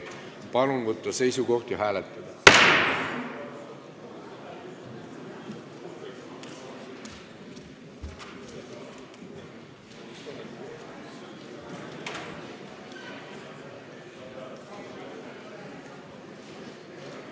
Palun võtta seisukoht ja hääletada!